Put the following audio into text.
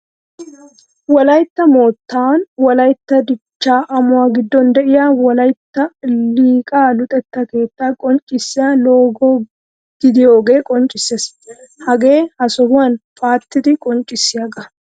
Wolaytta moottan wolaytta dichchaa amuwa giddon de'iya wolaytta liqaa luxetta keettaa qonccissiya logo gidiyogaa qonccissees. Hagee ha sohuwa paattidi qonccissiyagaa.